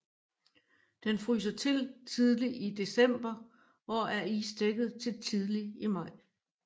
Den fryser til tidlig i december og er isdækket til tidlig i maj